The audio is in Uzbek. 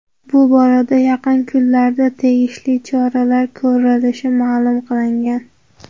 Bu borada yaqin kunlarda tegishli choralar ko‘rilishi ma’lum qilingan.